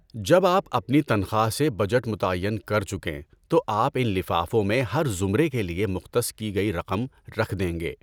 جب آپ اپنی تنخواہ سے بجٹ متعین کر چکیں تو آپ ان لفافوں میں ہر زمرے کے لیے مختص کی گئی رقم رکھ دیں گے۔